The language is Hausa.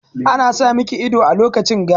Ana sa miki ido a lokacin ga.